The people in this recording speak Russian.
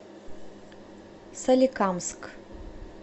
соликамск